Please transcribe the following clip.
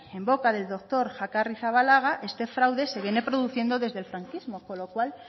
en boca del doctor este fraude se viene produciendo desde el franquismo con lo cual